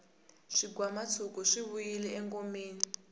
swigwamatshuki swi vuyile engomeni